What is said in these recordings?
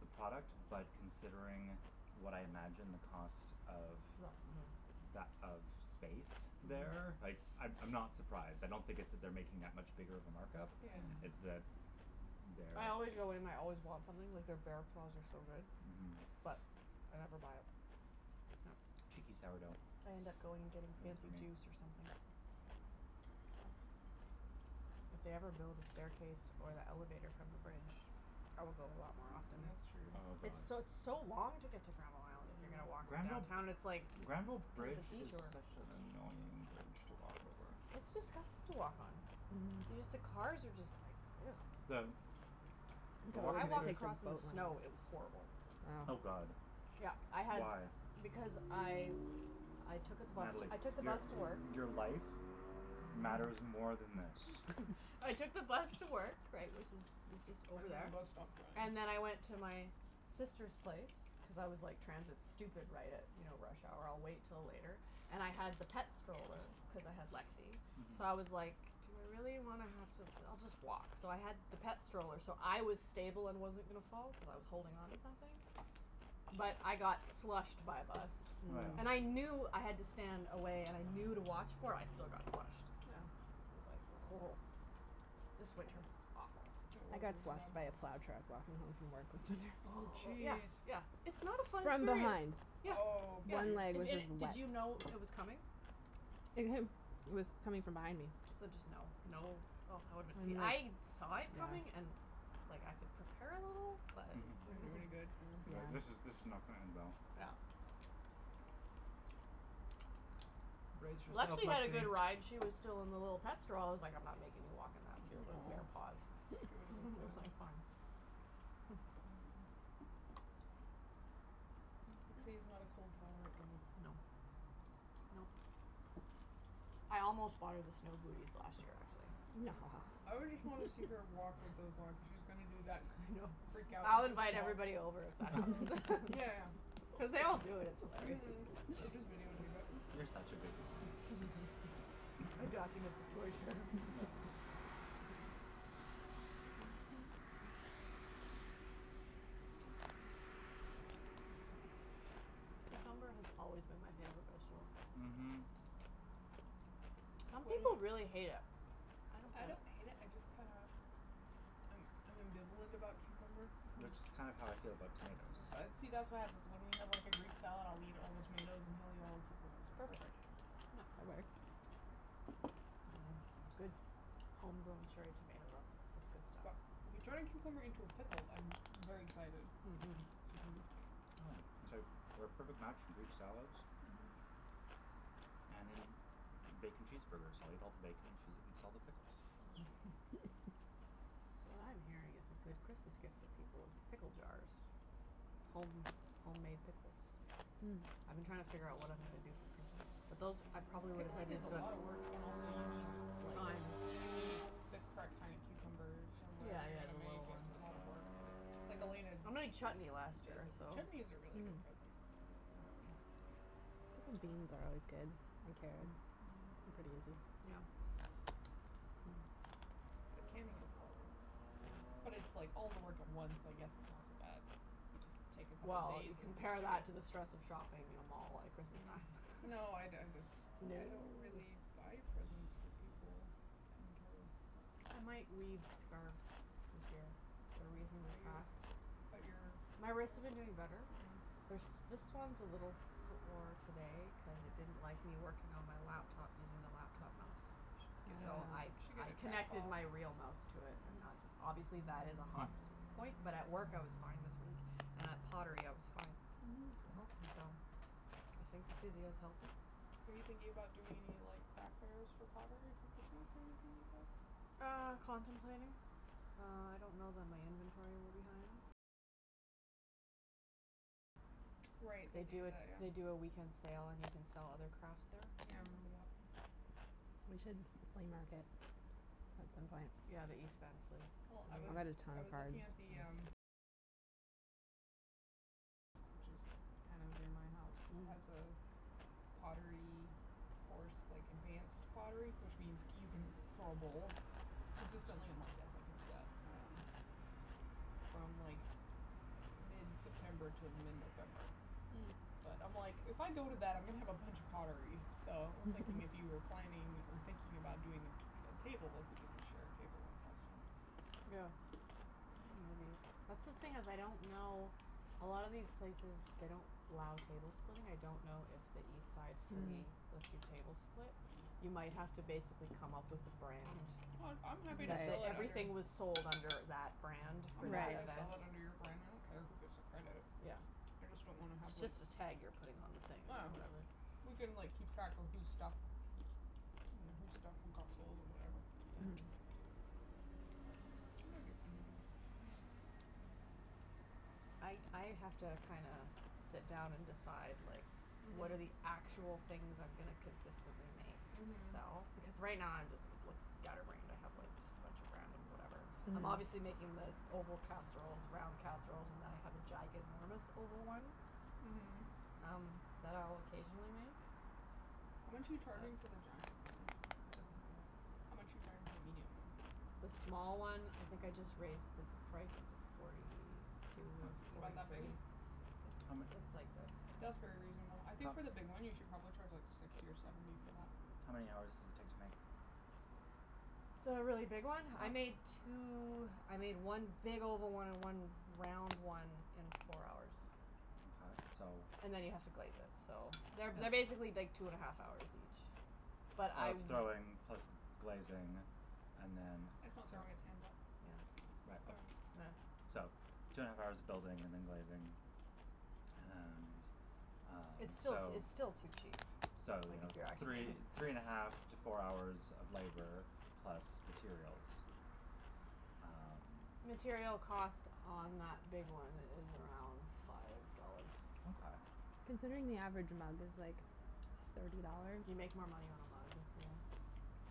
the product. but considering what I imagine the cost of, Mm. that of that of space there, Mm. like, I'm I'm not surprised, I don't think it's that they're making that much bigger of a markup. Yeah. It's Mm. that there I always go in and I always want something, like, their bear claws are so good. Mhm. But I never buy it. Yep. Cheeky sourdough. I end up going and getting Heard it from fancy me. juice or something. If they ever build a staircase or the elevator from the bridge I will go a lot more often. That's true. Oh It's god. so, it's so long to get to Granville Island if you're gonna Mm. walk from Granville downtown and it's like, Granville cuz of the bridge is detour. such an annoying bridge to walk over. It's disgusting to walk on. Y- Mm. just the cars are just like The The I walking walked space across in the snow, it was horrible. I Oh know. god. Yeah, I had Why? Because I I took out the bus to, Natalie, I took the your bus to work. your life matters more than this. I took the bus to work right, which is, it's just And over then the there. bus stopped drying. And then I went to my sister's place cuz I was like, transit stupid, right at you know, rush hour, I'll wait till later. And I had the pet stroller cuz I had Lexi. Mhm. So I was like, "Do I really wanna have to, I'll just walk." So I had the pet stroller so I was stable and wasn't gonna fall, cuz I was holding onto something. But I got slushed by a bus. Oh yeah. And I Mm. knew I had to stand away and I knew to watch for it, I still got slushed. I was like This winter was awful. Yeah. It I was got slushed by really a bad. plow truck walking home from work last winter. Oh, Oh, yeah, jeez. yeah, it's not a fun From experience. behind. Yeah, Oh yeah, One leg if was just did wet. you know it was coming? It w- it was coming from behind me. So just, no, no, oh I woulda been, see I'm I like saw Yeah it coming and and like, I could prepare a little but Didn't do any good, yeah. It like, Yeah. this is this is not gonna end well. Yeah. Brace yourself, Lexi had a Lexi! good ride, she was still in the little pet stroll- I was like, I'm not making you walk in that with your Mm little aw. bare paws. She woulda been That was frozen. like fine. Mhm. Lexi is not a cold tolerant dog. No. Nope. I almost bought her the snow booties last year, actually. Mm. I would just wanna see her walk with those on cuz she was gonna do that I thing know. of freak out I'll goofy invite walk. everybody over if that happens. Yeah, yeah. Cuz they all do it, it's hilarious. Mhm! Or just video tape it. You're such a good mom. I'd document the torture. Yeah. Cucumber has always been my favorite vegetable. Mhm. Some people really hate it. I don't I don't hate it, I just kinda I'm I'm ambivalent about cucumber. Which is kind of how I feel about tomatoes. See, that's what happens, when we have like a greek salad, I'll eat all the tomatoes and he'll eat all the know cucumbers, it's Perfect. perfect. No. That works. Mm, a good homegrown cherry tomato, though, that's good But stuff. if you turn a cucumber into a pickle I'm very excited. Mm, mhm. Mm, it's like we're a perfect match for greek salads. Mhm. And in bacon cheeseburgers, I'll eat all the bacon and she's eats all the pickles. What I'm hearing is a good Christmas gift for people is pickle jars. Home homemade pickles. I've been trying to figure out what I'm gonna do Mm. for Christmas. But those, I probably would've Pickling is a lotta work. And also, you need, like Time. You need the correct kinda cucumbers, or Yeah, whatever you're yeah, gonna the make little ones. It's a lotta work or Like Elena I d- made chutney last Who does year, every- so Chutney is a really Mm. good present. Yeah. Um Pickled beans are always good, and carrots. They're Mhm. pretty easy. Yeah. Hmm. Mm. But canning is a lotta work. Yeah. But it's like all the work at once, I guess it's not so bad. You just take a couple Well, days you and just compare that do it. to the stress of shopping at a mall at Christmas time. Mm. No, I d- I dis- No. I don't really buy presents for people. Kinda terrible, but I might weave scarves this year. They're reasonably Are you fast. But your My wrists have been doing better. Mm. They're s- this one's a little sore today cuz it didn't like me working on my laptop using the laptop mouse. You should get So I a You should get I a connected trackball. my real mouse to it and Mhm. that, obviously that is a Hmm. hot s- point, but at work I was fine this week. And at pottery, I was fine. Mhm. So, I think the physio's helping. Are you thinking about doing any like craft fairs for pottery for Christmas, or anything like that? Uh, contemplating. Uh, I don't know that my inventory will be high enough. Right, they They do do it, that, they yeah. do a weekend sale and you can sell other crafts there. Yeah, I remember Mm. that. We should flea market at some point. Yeah, the East Van Flea. Well I was I was looking at the, um Which is kind of near my house It has Oh. a pottery course, like, advanced pottery which means c- you can throw a bowl. Consistently, I'm like "yes, I can do that." Um From like, mid-september to mid-november. Mm. But, I'm like, if I go to that, I'm gonna have a bunch of pottery. So I was thinking if you were planning or thinking about doing a a table, if we could just share a table and sell stuff. That's the thing is, I don't know, a lot of these places, they don't allow table splitting, I don't know if the East Side Flea Hmm. lets you table split. You might have to basically come up with a brand. I'm happy to That, sell, that like, under everything was sold under that brand I'm for happy that to event. sell it under your brand, I don't care who gets the credit. Yeah. I just don't wanna have like It's just a tag you're putting on the thing or whatever. Ah. We can, like, keep track of whose stuff Mm whose stuff and got sold, and whatever. Yeah. Mhm. It might be fun to do. I I have to kinda sit down and decide like, what are Mhm. actual things I'm gonna consistently make to Mhm. sell, because right now I'm just, it looks scatterbrained, I have like just a bunch of random whatever. I'm Mhm. obviously making the oval casseroles, round casseroles, and then I have a giganormous oval one Mhm. um, that I'll occasionally make. How much are But you charging for the giant one? I don't know yet. How much are you charging for the medium one? The small one, I think I just raised the price to forty two or H- Is it about forty that big? three. It's How m- it's like this. That's very reasonable I think for How the big one, you should probably charge like, sixty or seventy for that. How many hours does it take to make? The really big one? I How made two, I made one big oval one and one round one in four hours. Mkay, so And then you have to glaze it, so They're, they're Yeah. basically like two and a half hours each. But I Of w- throwing plus glazing and then It's not throwing, it's handle. Yeah. Yeah. So, two and a half hours of building and then glazing. And Um, It's still t- it's so still too cheap. So, you Like know, if you're actually three three and a half to four hours of labor plus materials. Um Material cost on that big one is around five dollars. Mkay. Considering the average amount is like, thirty dollars. You make more money on a mug, yeah.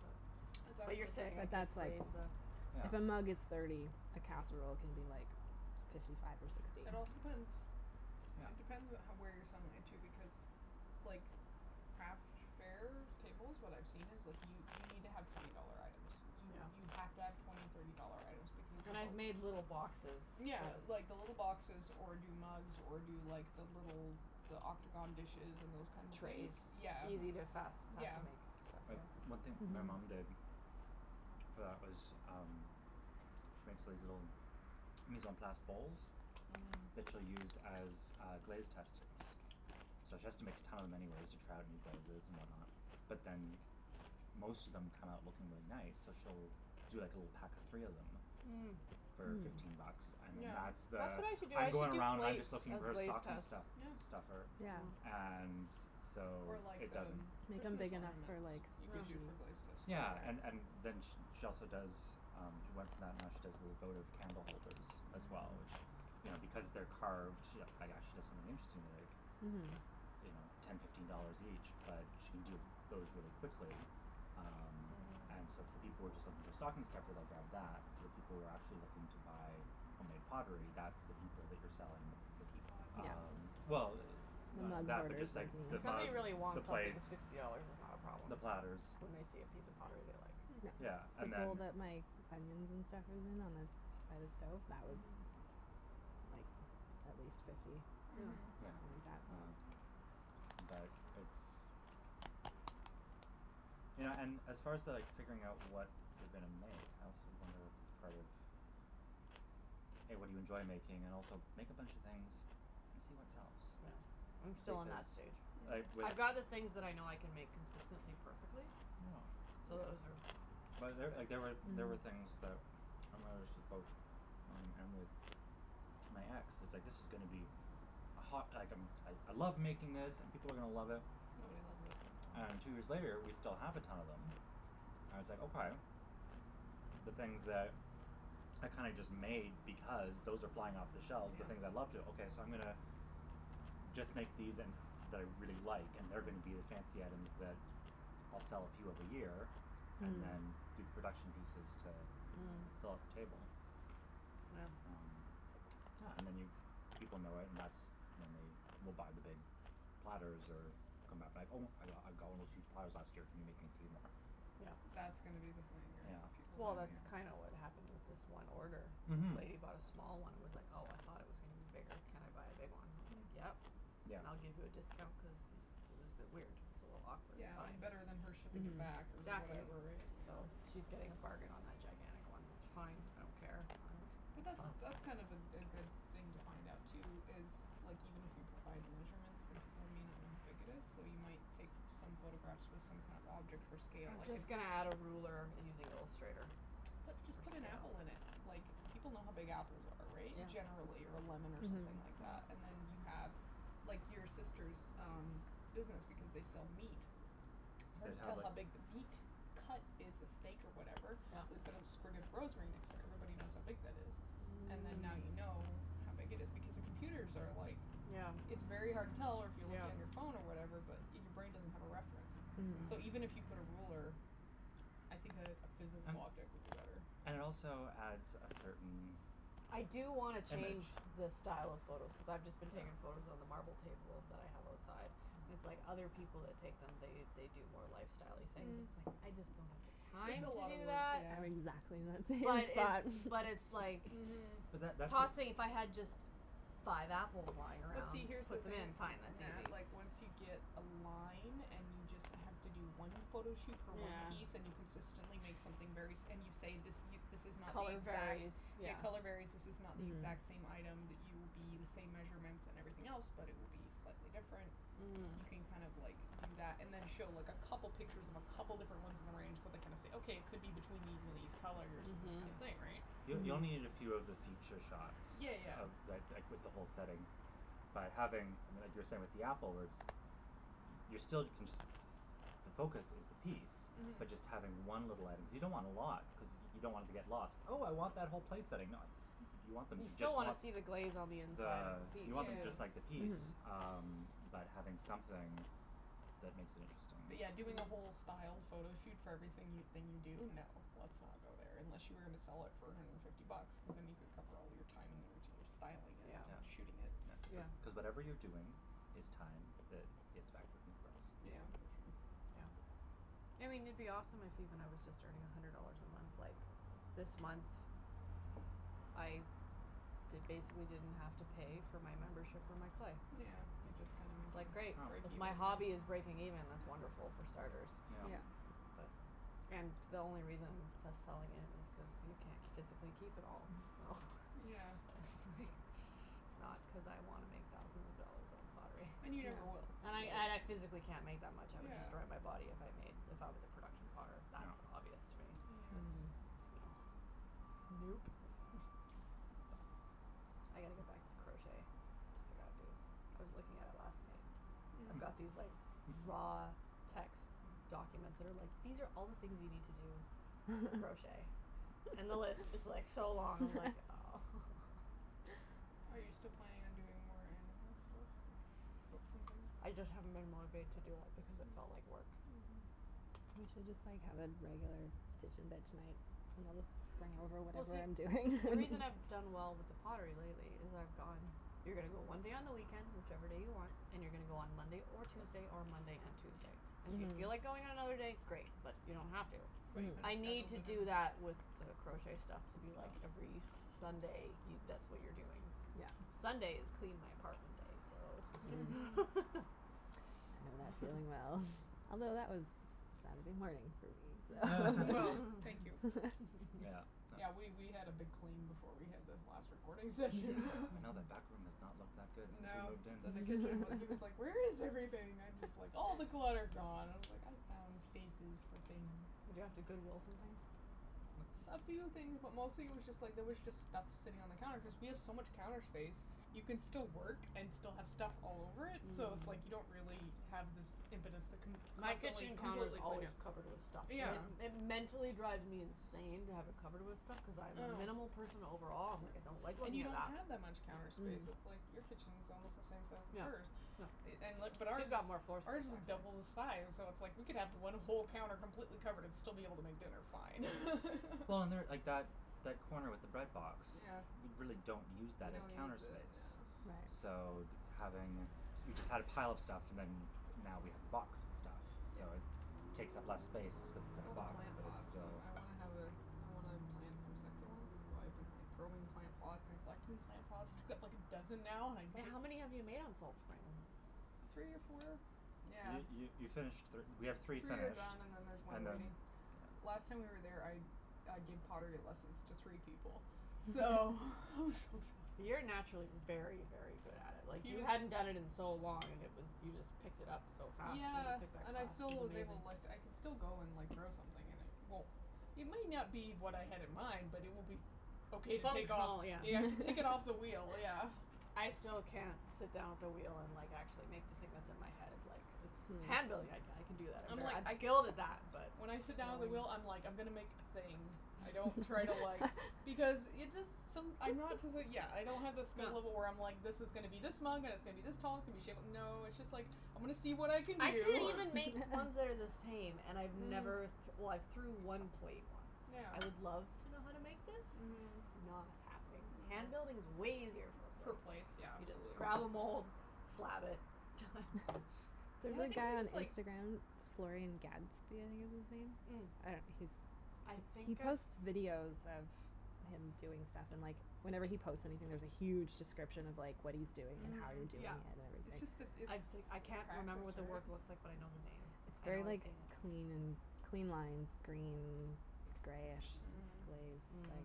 But Exactly. but you're saying I But could that's like, raise the Yeah. if a mug is thirty, a casserole can be like fifty five or sixty. It also depends It Yeah. depends what how where you're selling it, too. Because, like, craft fairs, tables, what I've seen is like, you you need to have twenty dollar items. You Yeah. you have to have twenty, thirty dollar items because And I've of made little boxes Yeah that like, the little boxes, or do mugs, or do like, the little the octagon dishes and those kinda things. Trays. Yeah. Easy to, Mm. fast, fast Yeah. to make, so But one thing my mom did Mhm. for that was, um she makes these little mise en place bowls Mhm. that she'll use as, uh, glaze testings. So she has to make a ton of them anyways to try out new glazes and whatnot. But then m- most of them come out looking really nice, so she'll do like a little pack of three of them Mm. for fifteen bucks, Mm. and then Yeah. that's That's the what I should do, "I'm I going should do around and I'm plates just looking as for a glaze stocking tests. stu- Yeah. stuffer" Yeah. Yeah. and so Or like, it the doesn't m- Make 'em Christmas big enough for ornaments. like, You could do sushi. Yeah. for glaze tests too, Yeah, right? and and then sh- she also does um, she went from that and now she does little votive candle holders as well, Mm. which, you know because they're carved, you know, actually does something interesting, they're like Mhm. you know, ten, fifteen dollars each but she can do those really quickly. Um And so Mhm. if the people were just looking for stocking stuffer they'll grab that. For the people who are actually looking to buy homemade pottery, that's the people that you're selling The teapots. um Well, The none of mug that, but just hoarders, like like the If me. somebody mugs, really the wants something, the plates sixty dollars is not a problem. the platters. When they see a piece of pottery they like. Mhm. Yeah, and People then that make onions and stuff moving on the by the stove, that was, Mhm. like, at least fifty. Yeah. Mhm. Yeah. Something like Um that. But it's You know, and as far to like figuring out what you're gonna make I also wonder if it's part of A, what do you enjoy making and also make a bunch of things and see what sells. Yeah. Yeah. I'm still on Because that stage. like, Mm. with I'd rather things that I know I can make consistently perfectly. Yeah. So those But are, there, like, big there were, there were things that Mm. mom and with my ex, it was like "this is gonna be a hot" like a "I I love making this, and people are gonna love it." Nobody loves it. And two years later we still have a ton of them. And it's like, okay. The things that are kinda just made because, those are flying off the shelves the Yeah. things I love to, okay so I'm gonna just make these and, that I really like, and they're Mhm. gonna be the fancy items that I'll sell a few of a year and then Mhm. do the production pieces to Mm. Mm. fill up table. Yeah. Um Yeah, and then you, people know it and that's when they will buy the big platters, or come back be like, "Oh I got, I got one of those huge platters last year, can you make me three more?" Yeah. That's gonna be the thing, right? Yeah. People Well hogging that's Mhm. up kinda what happened with this one order. This Mhm. lady bought a small one and was like "Oh, I thought it was gonna be bigger, can I buy a big one?" I was like, Mm. "Yep, Yeah. and I'll give you a discount" cuz y- it was a bit weird. It was a little awkward Yeah, and better than her shipping it back or Mhm. Exactly. whatever, right? So Yeah. she's getting a bargain on that gigantic one. Fine, I don't care, I don't, But that's that's fine. Oh. that's kind of a a good thing to find out, too is, like even if you provide the measurements, then people might not know how big it is. Though you might take f- some photographs with some kind of object for scale I'm like an just gonna add a ruler using Illustrator Put, just for put an scale. apple in it! Like, people know how big apples are, right? Generally, or a lemon or something Mhm. like that. Yeah. And then you have, like, your sister's um business, because they sell meat. They'd Hard to have tell like how big the beat cut is a steak or whatever. So Yep. we put a sprig of rosemary next to it, everybody knows how big that is. And then now Mm. you know how big it is, because the computers are like Yeah. It's very hard to tell, or if you're looking at your Yeah. phone or whatever, but your brain doesn't have a reference, so even if you Mm. put a ruler I think a a physal And object would be better. Yeah. And it also adds a certain I do wanna change image. the style of photos cuz I've just been Yeah. taking photos on the marble table that I have outside. It's like other people that take them, they they do more lifestyle-y things. Mm. It's like, Mm. I just don't have the It's time a Mm. to lotta do work, that. yeah. Exactly, I'm thinking But like it's that. But it's like Mhm. But that that's the Tossing, if I had just five apples lying But around, see, here's just the put them thing, in, N- fine, that's Nat, easy. like once you get a line, and you just have to do one photo shoot for one piece and you Yeah. consistently make something very s- and you say this y- this is not the Color exact, varies. yeah, Yeah. color varies This is not the Mhm. exact same item that you will be, the same measurements and everything else but it will be slightly different. You Mhm. can Yeah. kind of like, do that, and then show like a couple pictures of a couple different ones in the range, so they kind of say "Okay, it could be between these and these colors and this Mhm. Yeah. kinda thing," right? Y- you only need a Mhm. few of the feature shots Yeah, yeah, of yeah. the, th- like with the whole setting. By having, I mean like you were saying with the apple words y- you're still, can just the focus is the piece. Mhm. But just having one little item, cuz you don't want a lot cuz y- you don't want it to get lost. "Oh I want that whole place setting." Nah, y- you want them You to just still wanna want see the glaze on the inside of the, the piece, you want them just Yeah. too. like the piece. Mhm. Um, but having something that makes it interesting. But yeah, doing a whole styled photo shoot for every sing- thing you do? No. Let's not go there, unless you were gonna sell it for a hundred and fifty bucks. Cuz then you could cover all of your time and energy of styling it Yeah. and Yeah. shooting it. That's cuz Yeah. cuz whatever you're doing is time that gets factored in the price. Yeah. Yeah, for sure. Yeah. I mean it'd be awesome if even I was just earning a hundred dollars a month, like This month I d- basically didn't have to pay for my membership for my clay. Yeah, you just kinda It's like, making, great, break Oh. if even. my hobby is breaking Yeah. even, that's wonderful, for starters. Yeah. And the only reason to selling it is cause you c- physically keep it all. So Yeah. it's like, it's not cuz I wanna make thousands of dollars off pottery. And you never will. And I, and I physically can't make that much, I would destroy Yeah. my body if I made, if I was a production potter. That's Yeah. obvious to me. Yeah. Mm. So Nope. But, I gotta get back to crochet, that's what I gotta do. I was looking at it last night, I've got Mhm. these like, raw text documents that are like, "these are all the things you need to do for crochet." And the list is like, so long, I'm like, oh. Are you still planning on doing more animal stuff? Like, books and things? I just haven't been motivated to do it because it felt Mm. like work. Mhm. You should just like have a regular stitch and bitch night. And I'll just bring over Well whatever see, I'm doing. the reason I've done well with the pottery lately is I've gone You're gonna go one day on the weekend, whichever day you want. And you're gonna go on Monday or Tuesday, or Monday and Tuesday. And if you feel like Mhm. going on another day, great, but you don't have to. But you kinda Mhm. I need scheduled to it do in. that with the crochet stuff to be like, Oh. every Sunday. You, that's what you're doing. Sunday is clean my apartment day, so That went really well, although that was Saturday morning for me, so Well, thank you. Yeah, Yeah, that was we we had a big clean before we had the last recording session. Yeah, I know that back room has not looked that good since we No. moved in. Then the kitchen w- he was like, "Where is everything?" I'm just like, "All the clutter gone" and I was like, "I found places for things." Did you have to Goodwill some things? No. S- a few things, but mostly it was just like, there was just stuff sitting on the counter cuz we have so much counter space. You can still work and still have stuff all over it, so it's like Mm. you don't really have this impetus to con- My constantly kitchen counter's completely clean always it. covered with stuff. And Yeah. Yeah. it it mentally drives me insane to have it covered with stuff. Cuz I I am a know. minimal person overall, I'm like, I don't like And looking you at don't that. have that much counter space, it's like your kitchen's almost the same size as Yeah. hers No. i- and li- but ours Who's is got more floor space ours is actually. double the size, so it's like we could have one whole counter completely covered and still be able to make dinner fine. Well and there, like that that corner with the bread box Yeah. we really don't use We that as don't counter use it, yeah. space. So, d- having, we just had a pile of stuff and then now we have the box with stuff. Yeah. So it takes up less space cuz it's It's in all a the box, plant but it's that's um, still I wanna have a I wanna plant some succulents, so I've been like, throwing plant pots and collecting plant pots. I got like a dozen now and I Wait, how many have you made on Salt Spring? Three or four? Yeah. You you you finished thir- we have Three three are finished done and then there's one and then, waiting. Last time we were yeah. there, I I gave pottery lessons to three people, so it was so You're exhausting. naturally very, very good at it. Like, He you was hadn't done it in so long and it was you just picked it up so fast when Yeah, you took that and I class. It still was was able, like, amazing. I can still go and, like, throw something and it won't It may not be what I had in mind, but it will be okay to take off. Functional, yeah. Yeah, I can take it off the wheel, yeah. I still can't sit down at the wheel and, like, actually make the thing that's in my head, like, it's Handling, I I can do that, I'm I'm ver- like, I'm I skilled guilded at that, that. but When I sit down at the wheel, I'm like, I'm gonna make a thing. I don't try to, like Because it just, som- I'm not to the, yeah, I don't have the skill level where I'm like this is gonna be this mug and it's gonna be this tall, it's going to be shape no, it's just like I'm gonna see what I can I can't do. even make ones that are the same, and I've never th- Mhm. well, I've threw Mhm. one plate once. I would love Yeah. to know how to make this. Mhm. It's not happening. I know. Hand building is way easier for a For plate. plates, yeah, You just absolutely. grab a mould, slab it, done. Yeah, There's I a think it guy it on was like Instagram, Floren Gatzby, I think is his Mm. name. I Mm. don't know, he's I he think I've posts videos of him doing stuff and, like, whenever he posts anything, there's a huge description of, like, what he's doing and how he's Mhm. doing Yeah. it and It's just the everything. it's I've s- practice, I can't remember what the work looks like, but I right? know the name. It's I know very, I've like, seen it. clean and clean lines, green greyish Mhm. glaze, like,